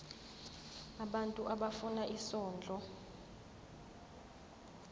abantu abafuna isondlo